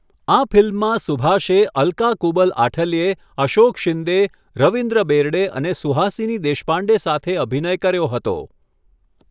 આ ફિલ્મમાં સુભાષે અલકા કુબલ આઠલ્યે, અશોક શિંદે, રવિન્દ્ર બેર્ડે અને સુહાસિની દેશપાંડે સાથે અભિનય કર્યો હતો.